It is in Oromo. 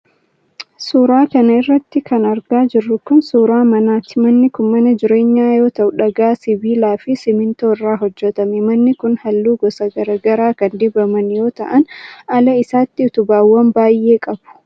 Suura kana irratti kan argaa jirru kun, suura manaati. Manni kun mana jireenyaa yoo ta'u, dhagaa, sibiilaa fi simiintoo irraa hojjatame. Manni kun haalluu gosa garaa garaa kan dibaman yoo ta'an, ala isaatti utubaawwan baay'ee qabu.